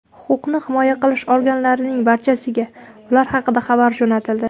Huquqni himoya qilish organlarining barchasiga ular haqida xabar jo‘natildi.